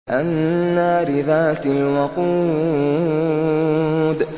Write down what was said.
النَّارِ ذَاتِ الْوَقُودِ